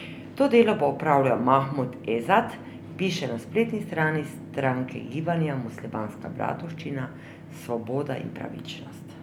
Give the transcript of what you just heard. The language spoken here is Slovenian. To delo bo opravljal Mahmud Ezat, piše na spletni strani stranke gibanja Muslimanska bratovščina, Svoboda in pravičnost.